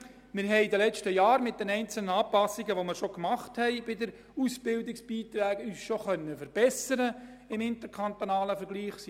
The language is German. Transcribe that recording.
In den letzten Jahren konnten wir uns mit den einzelnen Massnahmen, die wir bei den Ausbildungsbeiträgen bereits eingeführt haben, im interkantonalen Vergleich verbessern.